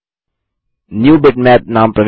new bitmap नाम प्रविष्ट करें